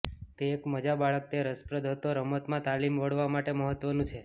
તે એક મજા બાળક તે રસપ્રદ હતો રમત માં તાલીમ વળવા માટે મહત્વનું છે